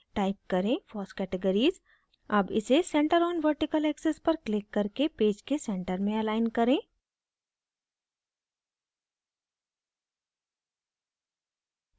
type करें foss categories अब इसे centre on vertical axis पर क्लिक करके पेज के centre में अलाइन करें